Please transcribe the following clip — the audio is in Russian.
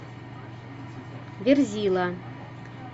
верзила